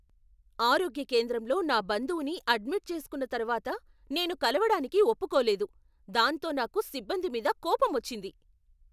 ఆరోగ్య కేంద్రంలో నా బంధువుని అడ్మిట్ చేసుకున్నతర్వాత నేను కలవడానికి ఒప్పుకోలేదు, దాంతో నాకు సిబ్బంది మీద కోపమొచ్చింది.